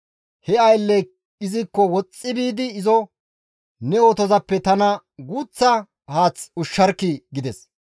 He aylley izikko woxxi biidi izo, «Ne otozappe tana guuththa haath ushsharkkii!» gides.